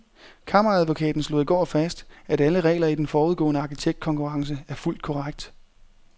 Kammeradvokaten slog i går fast, at alle regler i den forudgående arkitektkonkurrence er fulgt korrekt.